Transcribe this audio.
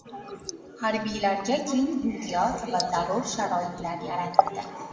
Harbiylarga keng imtiyoz va zarur sharoitlar yaratildi.